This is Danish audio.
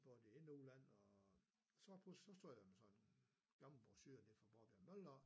Både ind og udland og så tog jeg nemlig sådan en gammel brochure nede fra Borbjerg mølle af